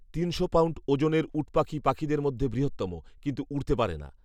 তিনশো পাউন্ড ওজনের উটপাখি পাখিদের মধ্যে বৃহত্তম; কিন্তু উড়তে পারে না